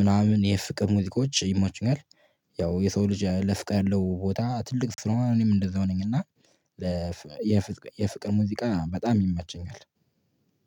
ምናምን፣ የፍቅር ሙዚቃዎች ይሞቹኛል፤ ያው የሰው ልጅ ለፍቅር ያለው ቦታ ትልቅ ስለሆነ እኔም እንደዛው ነኝ፤ እና የፍቅር ሙዚቃ በጣም ይመቸኛል፤